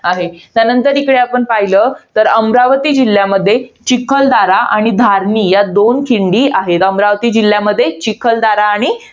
आहे. त्यानंतर आपण इकडं जर पाहिलं तर अमरावती जिल्ह्यामध्ये, चिखलदरा आणि धार्मी या दोन खिंडी आहे. अमरावती जिल्ह्यामध्ये, चिखलदरा आणि